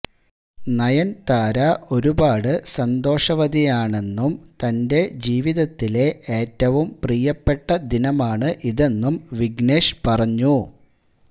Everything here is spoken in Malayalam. നയന്താര ഒരുപാട് സന്തോഷവതിയാമെന്നും തന്റെ ജീവിതത്തിലെ ഏറ്റവും പ്രിയപ്പെട്ട ദിനമാണ് ഇതെന്നും വിഘ്നേഷ് പറഞ്ഞു